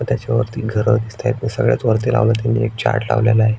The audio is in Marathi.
त्याच्या वरती घर दिसतायेत सगळ्यात वरती लवलाय त्यांनी एक चार्ट लावलाय.